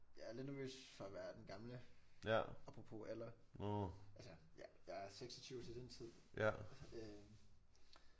Jeg er lidt nervøs for at være den gamle apropos alder altså jeg jeg er 26 til den tid så det